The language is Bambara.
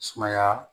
Sumaya